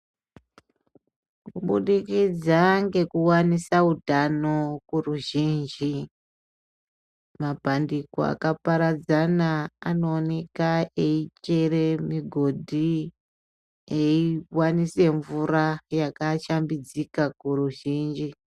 Kubudikidza ngekuwanisa utano kuruzhinji mapandiko akaparadzana anooneka eichere migodhi eiwanise mvura yakashambidzika kuruzhinji.